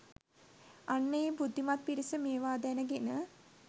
අන්න ඒ බුද්ධිමත් පිරිස මේවා දැනගෙන